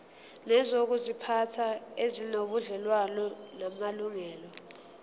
nezokuziphatha ezinobudlelwano namalungelo